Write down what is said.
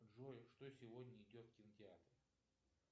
джой что сегодня идет в кинотеатре